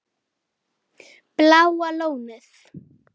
Þess var ekki gætt.